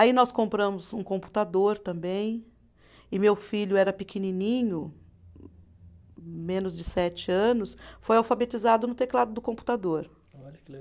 Aí nós compramos um computador também, e meu filho era pequenininho, menos de sete anos, foi alfabetizado no teclado do computador. Olha que